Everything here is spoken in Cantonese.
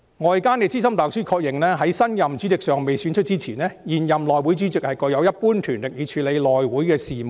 "外間資深大律師確認，在新任主席尚未選出前，現任內會主席具有一般權力以處理內會的事務"。